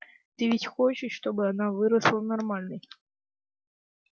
ты ведь хочешь чтобы она выросла нормальной